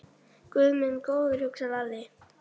Guð minn góður, hugsaði Lalli.